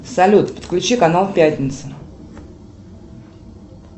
салют подключи канал пятница